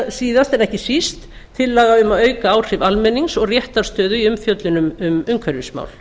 síðast en ekki síst tillaga um að auka áhrif almennings og réttarstöðu í umfjöllun um umhverfismál